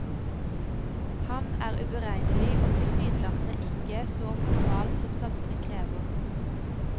Han er uberegnelig og tilsynelatende ikke så normal som samfunnet krever.